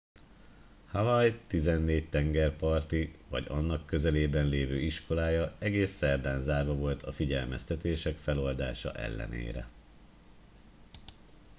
hawaii tizennégy tengerparti vagy annak közelében lévő iskolája egész szerdán zárva volt a figyelmeztetések feloldása ellenére